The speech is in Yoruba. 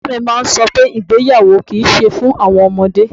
Bàbá mi máa ń sọ pé ìgbéyàwó kì í ṣe fún àwọn ọmọdé.